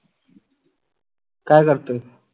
काय करतोय?